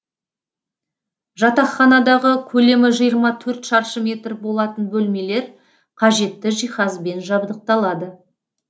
жатақханадағы көлемі жиырма төрт шаршы метр болатын бөлмелер қажетті жиһазбен жабдықталады